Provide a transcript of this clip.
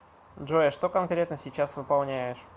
джой а что конкретно сейчас выполняешь